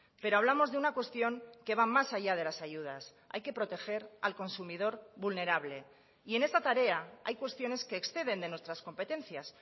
pero hablamos de una cuestión que va más allá de las ayudas hay que proteger al consumidor vulnerable y en esta tarea hay cuestiones que exceden de nuestras competencias